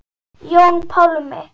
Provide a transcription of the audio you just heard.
Jón Pálmi.